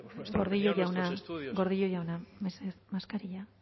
gordillo jauna gordillo jauna mesedez maskarilla